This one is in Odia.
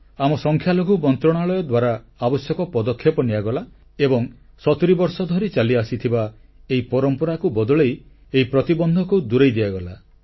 ଆମ ସଂଖ୍ୟାଲଘୁ ମନ୍ତ୍ରଣାଳୟ ଦ୍ୱାରା ଆବଶ୍ୟକ ପଦକ୍ଷେପ ନିଆଗଲା ଏବଂ ସତୁରୀ ବର୍ଷ ଧରି ଚାଲିଆସିଥିବା ଏହି ପରମ୍ପରାକୁ ବଦଳେଇ ଏହି ପ୍ରତିବନ୍ଧକକୁ ଦୂରେଇ ଦିଆଗଲା